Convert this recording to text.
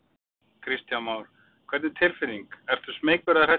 Kristján Már: Hvernig tilfinning, ertu smeykur eða hræddur?